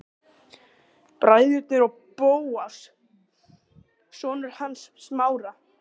Bræðurnir og Bóas, sonur hans Smára.